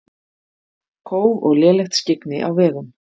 Kóf og lélegt skyggni á vegum